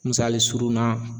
Misali surun na